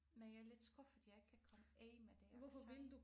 Men jeg er lidt skuffet jeg ikke kan komme af med det accent